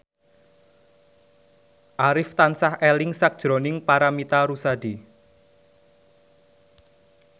Arif tansah eling sakjroning Paramitha Rusady